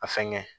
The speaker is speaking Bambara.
A fɛnkɛ